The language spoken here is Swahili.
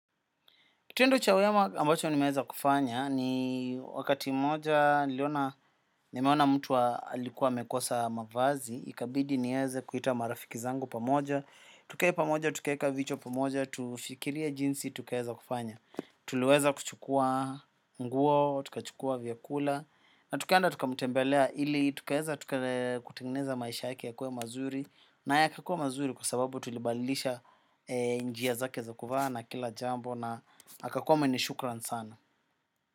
Kituendo cha wema ambacho ni meweza kufanya ni wakati moja nimeona mtu alikuwa amekosa mavazi, ikabidi niweze kuita marafiki zangu pamoja. Tukee pamoja, tukeeka vichwa pamoja, tufikiria jinsi, tukeeza kufanya. Tuleweza kuchukua nguo, tukachukua vyakula, na tukenda tukamutembelea ili, tukaeza tukeneza maisha yake ya kuwe mazuri. Na yake kuwa mazuri kwa sababu tulibalilisha njia zake za kuvana kila jambo na akakua mwenye shukran sana.